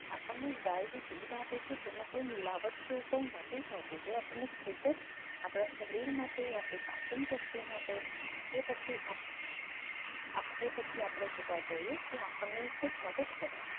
આપણને ગાય દૂધ આપે છે તેમાં કોઈ મિલાવટ કે એવું કંઈ નથી હોતું જે આપણને ખૂબ જ આપણા શરીર માટે પાચન શક્તિ માટે એ પછી આપ એ પછી આપણે જોવા જઈએ આપણને એ ખૂબ મદદ કરે છે